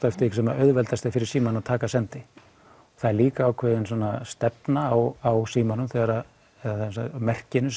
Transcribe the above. eftir því sem er auðveldast fyrir símann að taka sendi það er líka ákveðin stefna á símanum þegar eða á merkinu